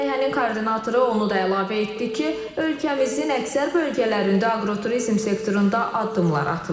Layihənin koordinatoru onu da əlavə etdi ki, ölkəmizin əksər bölgələrində aqroturizm sektorunda addımlar atılır.